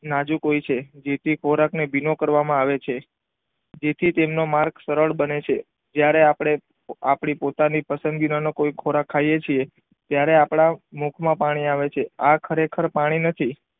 નાજુક હોય છે જેથી ખોરાક ને ભીનો કરવામાં આવે છે જેથી તેનો માર્ગ સરળ બને છે ત્યારે આપણે આપણી પોતાની પસંદગી નો કોઈ ખોરાક ખાઈ છીએ ત્યારે આપણા મૂર્ખ માં પાણી આવે છે આ ખરેખર પાણી નથી.